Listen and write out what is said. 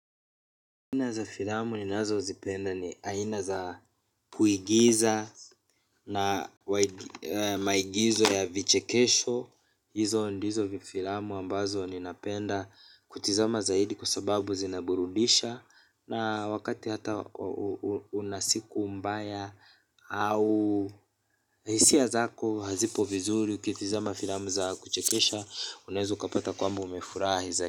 Aina za filamu ninazozipenda ni aina za kuigiza na maigizo ya vichekesho hizo ndizo vifilamu ambazo ninapenda kutizama zaidi kwa sababu zinaburudisha. Na wakati hata una siku mbaya au hisia zako hazipo vizuri ukitizama filamu za kuchekesha unaweza kupata kwamba umefurahi zaidi.